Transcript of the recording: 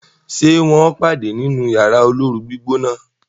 ṣe wón pade nínú Yàrá olóoru-gbígbóná?